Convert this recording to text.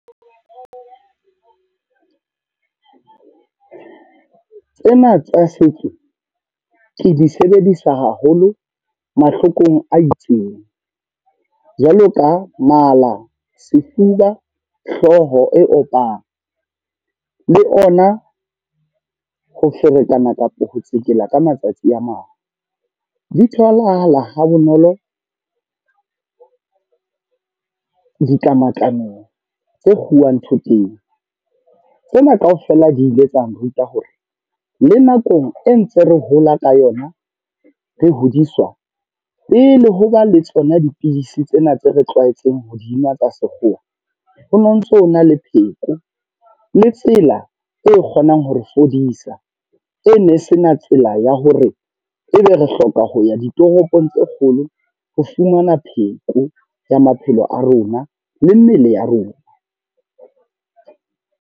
Tsena tsa setso, ke di sebedisa haholo mahlokong a itseng. Jwalo ka mala, sefuba, hlooho e opang. Le ona ho ferekana kapa ho tsekela ka matsatsi a mang. Di tholahala ha bonolo, ditlamatlameng tse kguwa thoteng. Tsena kaofela di ile tsang ruta hore, le nakong e ntse re hola ka yona. Re hodiswa, pele ho ba le tsona dipidisi tsena tse re tlwaetseng hodinwa tsa sekgowa. Ho no ntso na le pheko le tsela e kgonang hore fodisa. E ne se na tsela ya hore ebe re hloka ho ya ditoropong tse kgolo ho fumana pheko ya maphelo a rona, le mmele ya rona.